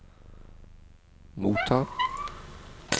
motta